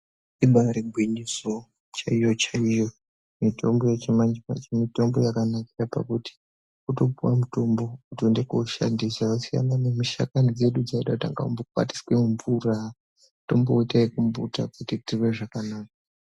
Ibari gwinyiso chaiyo chaiyo mitombo yechimanje manje mitombo yakanakira pakuti wotopuwa mutombo wotoenda koshandisa yasiyana nemishakani dzedu dzaida kutanga wambokwatisa mumvura tomboita ekumbuta kuti titirwe zvakanaka.